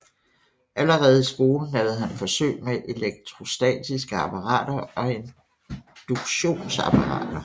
Allerede i skolen lavede han forsøg med elektrostatiske apparater og induktionsapparater